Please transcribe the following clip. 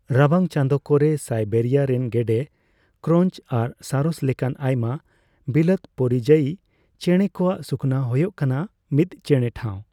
ᱨᱟᱵᱟᱝ ᱪᱟᱸᱫᱳ ᱠᱚᱨᱮ ᱥᱟᱭᱵᱮᱨᱤᱭᱟ ᱨᱮᱱ ᱜᱮᱰᱮ, ᱠᱨᱳᱧᱪ ᱟᱨ ᱥᱟᱨᱚᱥ ᱞᱮᱠᱟᱱ ᱟᱭᱢᱟ ᱵᱤᱞᱟᱹᱛ ᱯᱚᱨᱤᱡᱟᱭᱤ ᱪᱮᱬᱮ ᱠᱚᱣᱟᱜ ᱥᱩᱠᱷᱚᱱᱟ ᱦᱳᱭᱳᱜ ᱠᱟᱱᱟ ᱢᱤᱫ ᱪᱮᱬᱮᱴᱷᱟᱣ ᱾